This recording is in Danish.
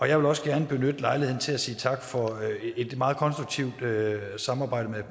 jeg vil også gerne benytte lejligheden til at sige tak for et meget konstruktivt samarbejde med